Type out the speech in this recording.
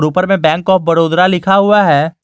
ऊपर में bank of Baroda लिखा हुआ है।